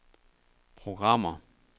programmer